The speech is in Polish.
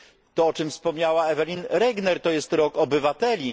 To, o czym wspomniała Evelyn Regner to jest Rok Obywateli.